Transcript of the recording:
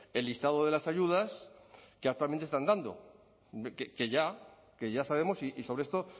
el listado de las ayudas que actualmente están dando que ya que ya sabemos y sobre esto